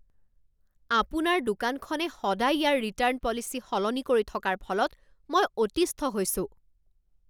আপোনাৰ দোকানখনে সদায় ইয়াৰ ৰিটাৰ্ণ পলিচি সলনি কৰি থকাৰ ফলত মই অতিষ্ঠ হৈছো।